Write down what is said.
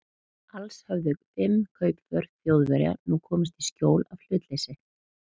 Alls höfðu fimm kaupför Þjóðverja nú komist í skjól af hlutleysi